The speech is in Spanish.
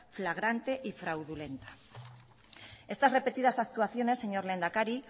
flagrante y fraudulenta estas repetidas actuaciones señor lehendakari